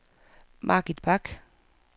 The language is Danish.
Margit Bach